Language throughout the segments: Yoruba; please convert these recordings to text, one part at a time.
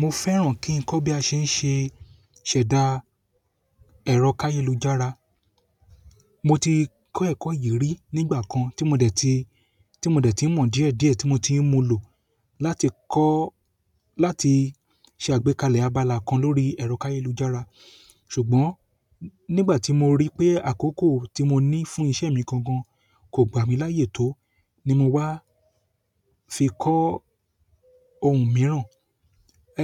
Mo fẹ́ràn ki n kọ bi a se n se ṣẹda ẹrọ kayelujara. Mo ti kọ́ ẹ̀kọ́ yìí rí nígbà kan tí mo dẹ̀ ti, tí mo dẹ̀ ti mọ̀ díẹ̀ díẹ̀ tí mo ti ń mu lò láti kọ́, láti ṣe àgbékalẹ̀ abala kan lórí ẹ̀rọ káyélujára. Ṣùgbọ́n nígbà tí mo rí pé àkókò tí mo ní fún ìṣe mi gangan kò gbà mí láyé tó ni mo wá fi kọ́ ohun mìíràn.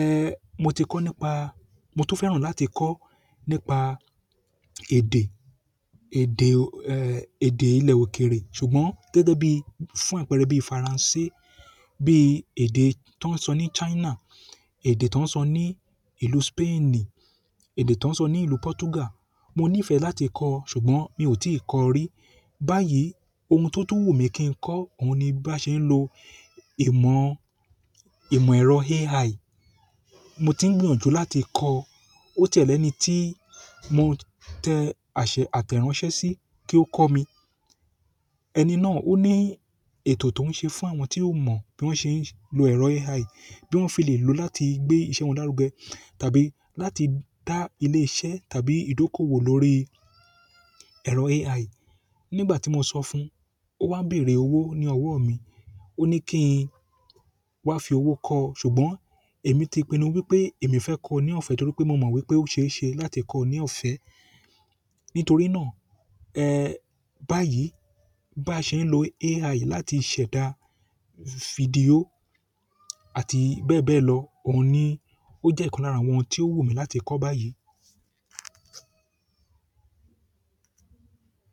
Eh mo ti kọ́ nípa, mo tún fẹ́ràn láti kọ́ nípa èdè, èdè, eh èdè ilẹ̀ òkèrè. Ṣùgbọ́n gẹ́gẹ́ bí fún àpẹẹrẹ bí Faransé, bí èdè tó ń sọ ní China, èdè tó ń sọ ní ìlú Spainì, èdè tó ń sọ ní ìlú Portugal. Mo níìfẹ̀ láti kọ́, ṣùgbọ́n mi ò tí kọ́ rí. Báyìí ohun tó tó wù mí kí n kọ́, òun ni bí a ṣe ń lo ìmọ̀, ìmọ̀ ẹ̀rọ AI. Mo ti ń gbìyànjú láti kọ́. Ó tẹ́lẹ̀ ni tí mo tẹ àṣẹ àtẹ̀ránsẹ́ sí kí ó kọ́ mi. Ẹni náà ó ní ètò tó ń ṣe fún àwọn tí ó mọ̀ bí wọ́n ṣe ń lo ẹ̀rọ AI, bí wọ́n fi lè lò ó láti gbé ìṣe wọn lárugẹ tàbí láti dá ilé iṣẹ́ tàbí ìdókòwò lórí ẹ̀rọ AI. Nígbà tí mo sọ fún un, ó wá bèrè owó ní ọwọ́ mi. Ó ní kí n wá fi owó kọ́, ṣùgbọ́n èmi ti pinu wípé èmi fẹ́ kọ́ ní ọ̀fẹ́ torí pé mo mọ̀ wípé ó ṣeéṣe láti kọ́ ní ọ̀fẹ́. Nítorí náà, eh báyìí bí a ṣe ń lo AI láti ṣẹ̀dá fídíò àti bẹ́ẹ̀ bẹ́ẹ̀ lọ, òun ni ó jẹ́ ìkan lára àwọn tí ó wù mí láti kọ́ báyìí.